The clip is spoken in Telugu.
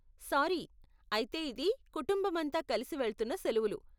సారీ, అయితే ఇది కుటుంబమంతా కలిసి వెళ్తున్న సెలువులు.